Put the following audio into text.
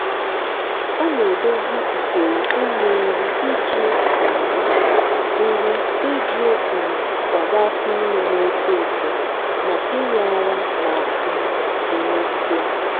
a na-edozi usoro inye nri iji um nri iji um kwado afọ ime na-eto eto na inye ara ma um emesịa.